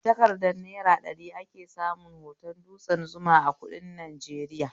A takardar naira ɗari ake samun hoton dutsen Zuma a kuɗin Najeriya